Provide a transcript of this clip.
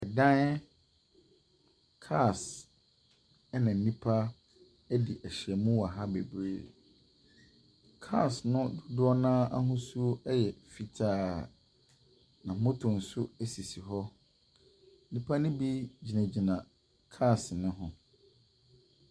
Dan, cars ɛna nnipa ɛdi ahyiam wɔ ha bebree, cars no dodoɔ no ara ahosuo ɛyɛ fitaa. Na motto nso ɛsisi hɔ. Nnipa ne bi gyinagyina cars ne ho.